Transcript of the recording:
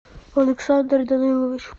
александр данилович